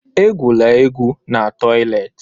Egwula egwu n'toịletị!